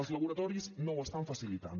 els laboratoris no ho estan facilitant